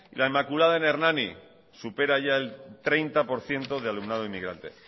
la inmaculada en hernani supera ya el treinta por ciento de alumnado inmigrante